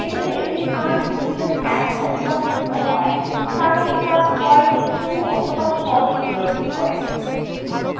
যেহেতু এটির মান boolean ১ অথবা ০ হয় তাই এটা হয় true অথবা false প্রদর্শন করে